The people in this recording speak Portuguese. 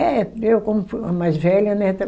É, eu como fui a mais velha, né?